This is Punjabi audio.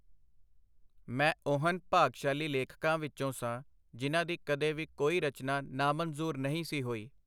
ਮੈਂ ਉਹਨ ਭਾਗਸ਼ਾਲੀ ਲੇਖਕਾਂ ਵਿਚੋਂ ਸਾਂ, ਜਿਨ੍ਹਾਂ ਦੀ ਕਦੇ ਵੀ ਕੋਈ ਰਚਨਾ ਨਾ-ਮਨਜ਼ੂਰ ਨਹੀਂ ਸੀ ਹੋਈ.